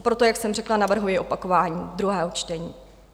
A proto, jak jsem řekla, navrhuji opakování druhého čtení.